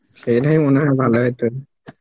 সেইটাই মনে হয় ভালো হতো